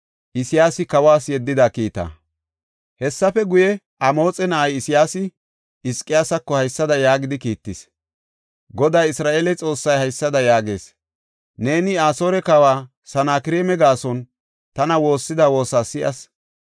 Hessafe guye, Amoxe na7ay Isayaasi Hizqiyaasako haysada yaagidi kiittis; “Goday Isra7eele Xoossay haysada yaagees. Neeni Asoore kawa Sanakreema gaason tana woossida woosa si7as.”